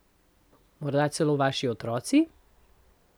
Morda celo vaši otroci?